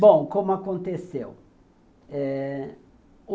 Bom, como aconteceu. Eh